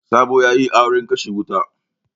Sabo ya yi auren kashe wuta.